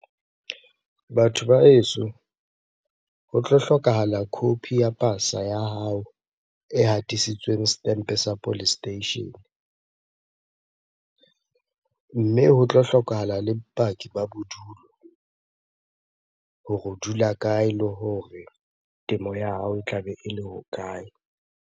Batho ba heso ho tlo hlokahala copy ya pasa ya hao e hatisitsweng setempe sa police station. Mme ho tlo hlokahala le bopaki ba bodulo hore o dula kae le hore temo ya hao e tlabe ele ho kae?